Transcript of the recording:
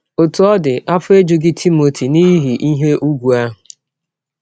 Ọtụ ọ dị, afọ ejụghị Timọti n’ihi ihe ụgwụ ahụ.